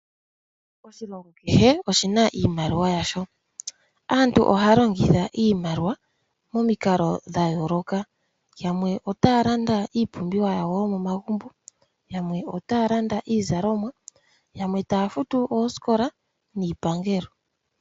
Oshilongo kehe oshina iimaliwa yasho. Aantu ohaya longitha iimaliwa momikalo dha yooloka. Yamwe otaya landa iipumbiwa yawo yomomagumbo, yamwe otaya landa iizalomwa, yamwe otaya futu oosikola niipangelo.